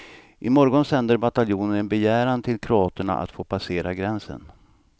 I morgon sänder bataljonen en begäran till kroaterna att få passera gränsen.